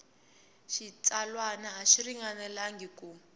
xitsalwana a xi ringanelangi ku